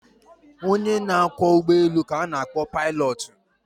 Onye na-akwọ ụgbọelu ka na-akpọ paịlọtụ.